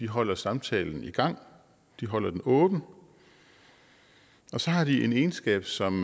holder samtalen i gang de holder den åben og så har de en egenskab som